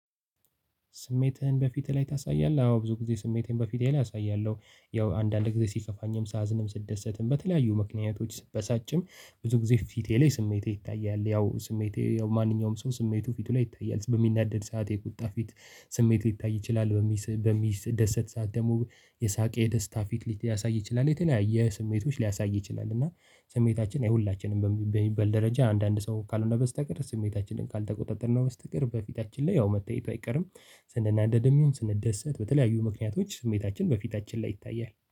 ስሜትህን? በፊትህ ላይ ታሳያለህ አዎ ብዙ ጊዜ ስሜትን በፊትህ ላይ አሳያለሁ ያው አንዳንድ ጊዜ ሲከፋኝም ሳዝንም ስትደሰትም በተለያዩ ምክንያቶች ስትበሳጭም ብዙ ጊዜ ፊቴ ላይ ስሜቴ ይታያል። ያው ስሜቴ ያው ማንኛውም ሰው ስሜቱ ፊቱ ላይ ይታያል። በሚናደድ ሰዓት የቁጣ ፊት ስሜት ሊታይ ይችላል በሚደሰት ሰዓት ደግሞ የሳቅ የደስታ ፊት ሊያሳይ ይችላል የተለያየ ስሜቶች ሊያሳይ ይችላል። እና ስሜታችን የሁላችንም በሚበል ደረጃ አንዳንድ ሰው ካልሆነ በስተቀር ስሜታችንን ካልተቆጣጠርነው ስትቀር በፊታችን ላይ ያው መታየቱ አይቀርም። ስንናደድም ይሁን ስንደሰት በተለያዩ ምክንያቶች ስሜታችን በፊታችን ላይ ይታያል